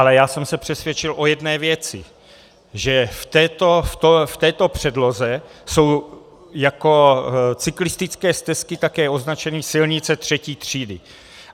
Ale já jsem se přesvědčil o jedné věci, že v této předloze jsou jako cyklistické stezky také označeny silnice III. třídy.